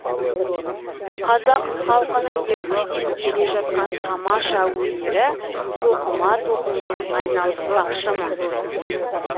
қазақ халқының ертеден келе жатқан тамаша өнері тоқыма тоқумен айналыспақшымын